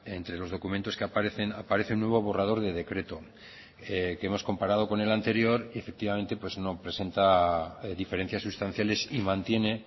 entre los documentos que aparecen aparece un nuevo borrador de decreto que hemos comparado con el anterior y efectivamente no presenta diferencias sustanciales y mantiene